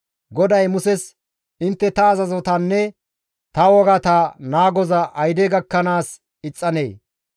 GODAY Muses, «Intte ta azazotanne ta wogata naagoza ayde gakkanaas ixxanee?